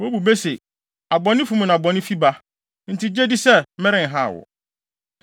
Wobu bɛ se, ‘Abɔnefo mu na bɔne fi ba.’ Enti, gye di sɛ, merenhaw wo.